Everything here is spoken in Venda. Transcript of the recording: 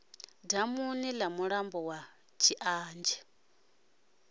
damuni ḽa mulambo wa tshianzhe